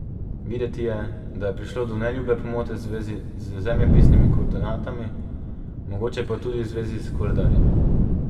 Videti je, da je prišlo do neljube pomote v zvezi z zemljepisnimi koordinatami, mogoče pa tudi v zvezi s koledarjem.